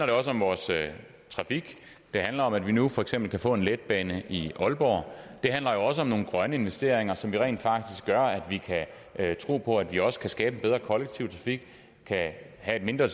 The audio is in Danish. det også om vores trafik det handler om at vi nu for eksempel kan få en letbane i aalborg det handler jo også om nogle grønne investeringer som rent faktisk gør at vi kan tro på at vi også kan skabe en bedre kollektiv trafik kan have et mindre